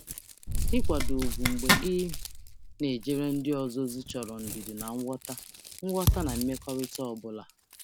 Ịnọgide na-enwe ugwu mgbe m na-ejere ndị ọzọ ozi chọrọ ndidi na nghọta n’ime mmekọrịta ọ bụla.